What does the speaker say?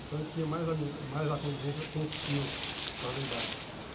Então eu tinha mais ami mais a convivência com os tios, por causa da idade.